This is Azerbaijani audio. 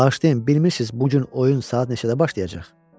Bağışlayın, bilmirsiniz bu gün oyun saat neçədə başlayacaq?